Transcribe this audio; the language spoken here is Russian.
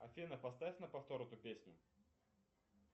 афина поставь на повтор эту песню